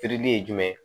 Feereli ye jumɛn ye